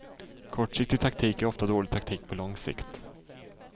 Kortsiktig taktik är ofta dålig taktik på lång sikt.